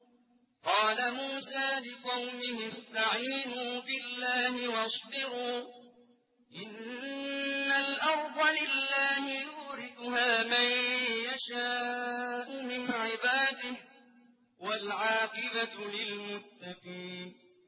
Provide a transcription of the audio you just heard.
قَالَ مُوسَىٰ لِقَوْمِهِ اسْتَعِينُوا بِاللَّهِ وَاصْبِرُوا ۖ إِنَّ الْأَرْضَ لِلَّهِ يُورِثُهَا مَن يَشَاءُ مِنْ عِبَادِهِ ۖ وَالْعَاقِبَةُ لِلْمُتَّقِينَ